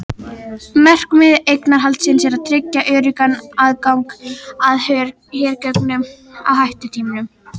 Markmið eignarhaldsins er að tryggja öruggan aðgang að hergögnum á hættutímum.